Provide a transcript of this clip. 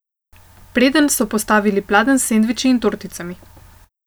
Predenj so postavili pladenj s sendviči in torticami.